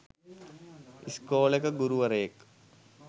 ඉස්කෝලෙක ගුරුවරයෙක්.